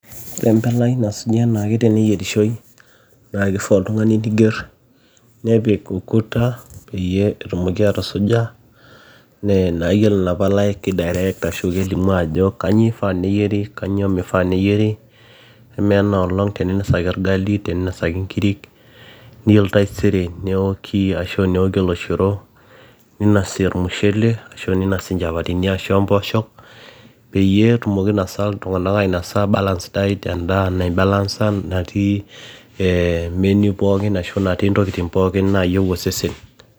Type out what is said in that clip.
Ore empalai nasuji enaake teneyierishoi naaa keifaa oltung'ani neiger nepik ukuta peyie etumoki atusuja naa iyiolo inapalai kei direct ashua kelimu ajo kanyioo eifaa neyieri kanyioo meifaa neyieri amu enaaolong teninosaki orgali teninosaki inkirik niyiolo taisere neoki ashuu neoki oloshoro ninosi ormushele ninosi inchapatini ompooshok peeyie etumoki ainosaa iltung'anak ainosa balance diet endaa naibalansa natii menu pookin ashuu natii intokitin pookin naayieu osesen